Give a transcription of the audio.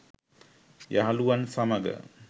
යහළුවන් සමඟ